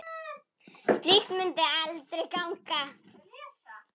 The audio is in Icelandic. Slíkt mundi aldrei ganga.